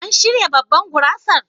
An shirya babban gurasar?